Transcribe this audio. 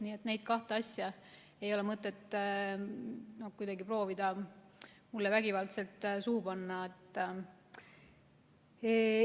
Nii et neid kahte asja ei ole mõtet proovida mulle kuidagi vägivaldselt suhu panna.